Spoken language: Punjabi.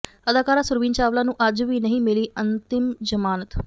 ਅਦਾਕਾਰਾ ਸੁਰਵੀਨ ਚਾਵਲਾ ਨੂੰ ਅੱਜ ਵੀ ਨਹੀਂ ਮਿਲੀ ਅੰਤ੍ਰਿਮ ਜ਼ਮਾਨਤ